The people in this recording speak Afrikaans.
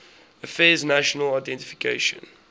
affairs national identification